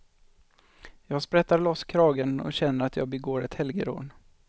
Jag sprättar loss kragen och känner att jag begår ett helgerån.